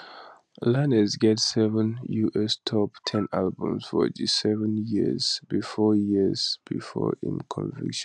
lanez get seven us top ten albums for di seven years bifor years bifor im conviction